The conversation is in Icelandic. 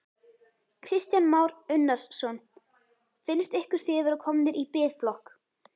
Kristján Már Unnarsson: Finnst ykkur þið vera komnir í biðflokk?